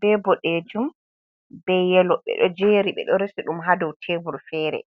be bodejum, be yelo. Ɓeɗo jeri, ɓeɗo resi ɗum ha dau tebul fere.